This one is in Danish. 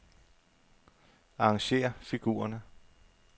Arrangér figurerne.